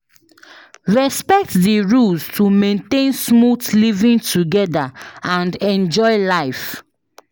Respect the rules to maintain smooth living together and enjoy life.